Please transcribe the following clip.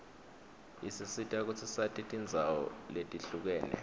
isisita kutsi sati tindzawo letihlukene